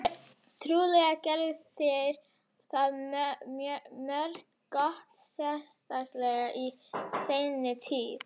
Trúlega gerðu þeir það mjög gott, sérstaklega í seinni tíð.